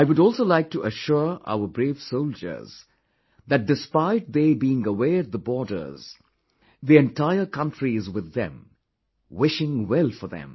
I would also like to assure our brave soldiers that despite they being away at the borders, the entire country is with them, wishing well for them